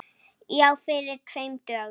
Já, fyrir tveim dögum.